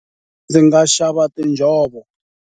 Ndzi nga xava tinjhovo.